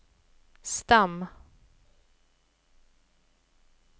stam